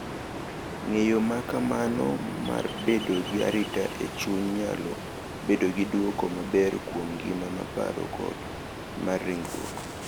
Ng’eyo ma kamano mar bedo gi arita e chuny nyalo bedo gi dwoko maber kuom ngima mar paro kod mar ringruok,